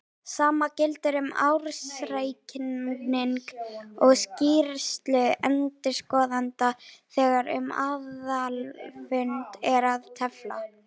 Sama gildir um ársreikning og skýrslu endurskoðenda þegar um aðalfund er að tefla.